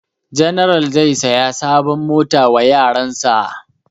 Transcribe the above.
General zai saya sabon mota wa yaran sa